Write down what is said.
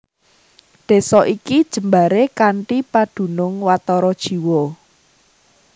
Desa iki jembaré kanthi padunung watara jiwa